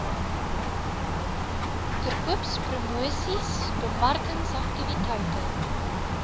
verkoopspromosiesbemarkingsaktiwiteite